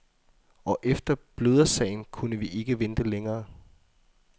Og efter blødersagen kunne vi ikke vente længere.